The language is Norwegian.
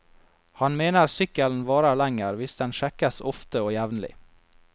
Han mener sykkelen varer lenger hvis den sjekkes ofte og jevnlig.